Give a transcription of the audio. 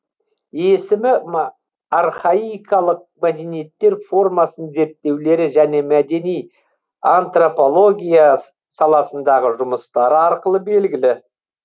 есімі архаикалық мәдениеттер формасын зерттеулері және мәдени антрапология саласындағы жұмыстары арқылы белгілі